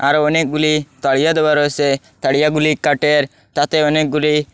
আরও অনেকগুলি তাড়িয়া দেওয়া রয়েসে তাড়িয়াগুলি কাঠের তাতে অনেকগুলি--